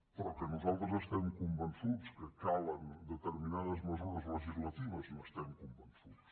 però que nosaltres estem convençuts que calen determinades mesures legislatives n’estem convençuts